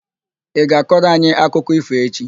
Ị ga-akọrọ anyị akụkọ ífò echi?